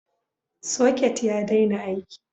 Socket ya daina aiki.